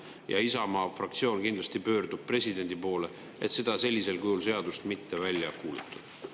Ja Isamaa fraktsioon kindlasti pöördub presidendi poole, et seda sellisel kujul seadust mitte välja kuulutada.